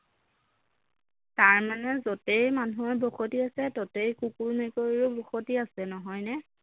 তাৰমানে যতেই মানুহৰ বসতি আছে ততেই কুকুৰ মেকুৰীৰো বসতি আছে নহয়নে